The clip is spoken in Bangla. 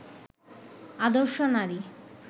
আদর্শ নারী